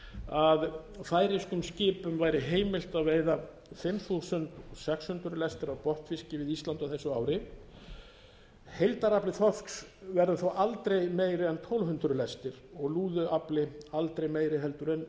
að færeyskum skipum væri heimilt að veiða fimm þúsund sex hundruð lestir af botnfiski við ísland á þessu ári heildarafli þorsks verður þó aldrei meiri en tólf hundruð lestir og lúðuafli aldrei meiri heldur en